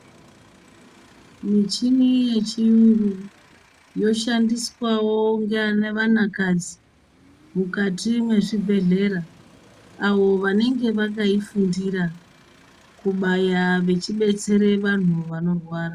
Michini yechiyungu yoshandiswawo ngevanakaji mukati mwezvibhedhlera avo vanenge vakaifundira kubaya vachibetsere vantu vanorwara.